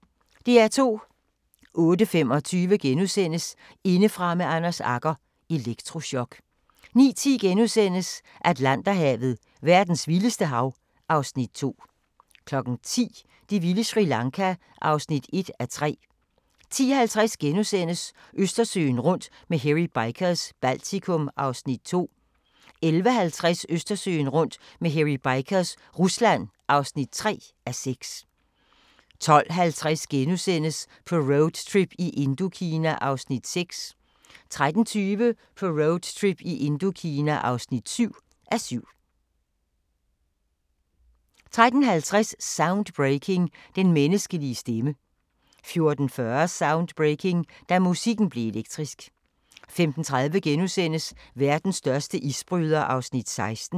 08:25: Indefra med Anders Agger – Elektrochok * 09:10: Atlanterhavet: Verdens vildeste hav (Afs. 2)* 10:00: Det vilde Sri Lanka (1:3) 10:50: Østersøen rundt med Hairy Bikers – Baltikum (2:6)* 11:50: Østersøen rundt med Hairy Bikers – Rusland (3:6) 12:50: På roadtrip i Indokina (6:7)* 13:20: På roadtrip i Indokina (7:7) 13:50: Soundbreaking – Den menneskelige stemme 14:40: Soundbreaking – Da musikken blev elektrisk 15:30: Verdens største isbryder (16:21)*